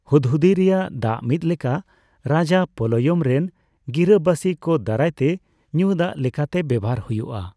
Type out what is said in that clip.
ᱦᱩᱫᱽᱦᱩᱫᱤ ᱨᱮᱭᱟᱜ ᱫᱟᱜ ᱢᱤᱫᱞᱮᱠᱟ ᱨᱟᱡᱟ ᱯᱟᱞᱚᱭᱚᱢ ᱨᱮᱱ ᱜᱤᱨᱟᱹᱵᱟᱹᱥᱤ ᱠᱚ ᱫᱟᱨᱟᱭ ᱛᱮ ᱧᱩ ᱫᱟᱜ ᱞᱮᱠᱟᱛᱮ ᱵᱮᱣᱦᱟᱨ ᱦᱩᱭᱩᱜᱼᱟ ᱾